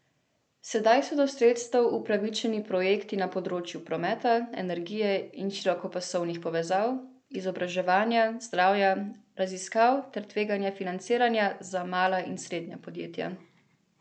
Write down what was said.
Sedaj so do sredstev upravičeni projekti na področju prometa, energije in širokopasovnih povezav, izobraževanja, zdravja, raziskav ter tveganega financiranja za mala in srednja podjetja.